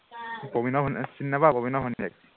প্ৰবিণৰ ভনীয়েক চিনি নাপাৱ, প্ৰবিণৰ ভনীয়েক